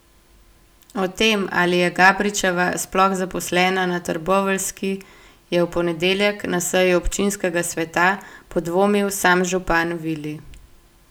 O tem, ali je Gabričeva sploh zaposlena na trboveljski, je v ponedeljek na seji občinskega sveta podvomil sam župan Vili.